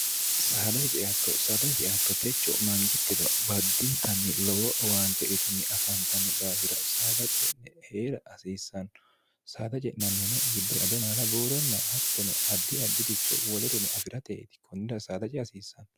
saadati ceaatto saadati ceaatto techo mangittino baddintanni lowo waante uitanni afaantanno dhaafira saada ce'ne hee'ra hasiissanno saada je'nannihono giddore ado maala buuronna hattono addi additicho woli rino afi'rateeti kunnida saada ci hasiissaanno